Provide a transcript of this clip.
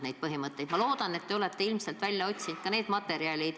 Riigikantselei juures töötas kunagi hoolduskoormuse rakkerühm.